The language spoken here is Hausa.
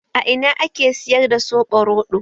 A ina ake siyar da soɓo roɗo?